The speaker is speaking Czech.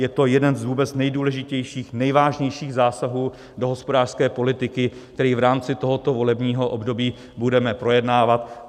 Je to jeden z vůbec nejdůležitějších, nejvážnějších zásahů do hospodářské politiky, který v rámci tohoto volebního období budeme projednávat.